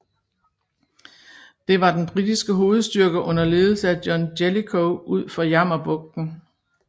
Det var den britiske hovedstyrke under ledelse af John Jellicoe ud for Jammerbugten